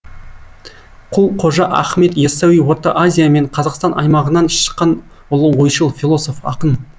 құл қожа ахмет яссауи орта азия мен қазақстан аймағынан шыққан ұлы ойшыл философ ақын